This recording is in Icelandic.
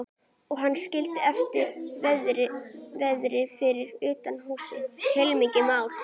Og hann skildi eftir verði fyrir utan húsið, heilmikið mál.